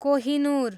Kohinoor